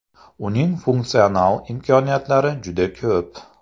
Uning funksional imkoniyatlari juda ko‘p.